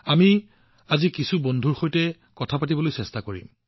আজি আমি কিছুমান সহকৰ্মীৰ সৈতেও কথা পাতিবলৈ চেষ্টা কৰিম